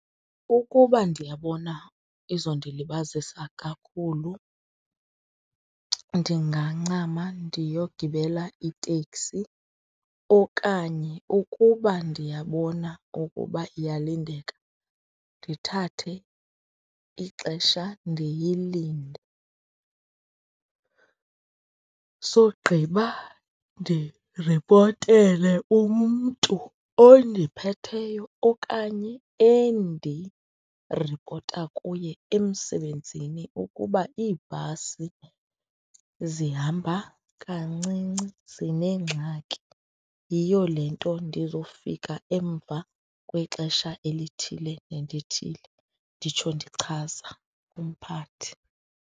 Ukuba ndiyabona izondilibazisa kakhulu ndingancama ndiyogibela iteksi okanye ukuba ndiyabona ukuba iyalindeka, ndithathe ixesha, ndiyilinde. Sogqiba ndiripotele umntu ondiphetheyo okanye endiripota kuye emsebenzini ukuba iibhasi zihamba kancinci zinengxaki, yiyo le nto ndizofika emva kwexesha elithile nelithile. Nditsho ndichaza kumphathi.